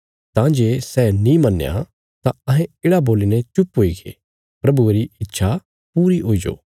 तां जे सै नीं मन्या तां अहें येढ़ा बोलीने चुप हुईगे प्रभुये री इच्छा पूरी हुईजो